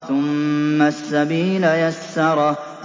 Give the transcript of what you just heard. ثُمَّ السَّبِيلَ يَسَّرَهُ